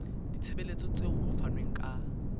ditshebeletso tseo ho fanweng ka